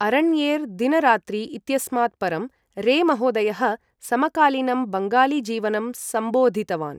अरण्येर् दिन रात्रि इत्यस्मात् परं, रे महोदयः समकालीनं बङ्गाली जीवनं सम्बोधितवान्।